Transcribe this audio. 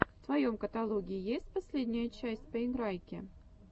в твоем каталоге есть последняя часть поиграйки